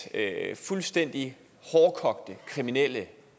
at fuldstændige hårdkogte kriminelle